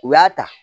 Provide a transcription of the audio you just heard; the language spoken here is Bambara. U y'a ta